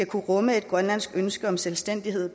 kunne rumme et grønlandsk ønske om selvstændighed